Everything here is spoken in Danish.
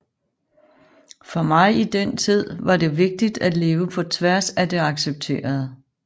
For mig i den tid var det vigtigt at leve på tværs af det accepterede